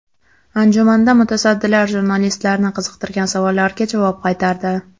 Anjumanda mutasaddilar jurnalistlarni qiziqtirgan savollarga javob qaytardi.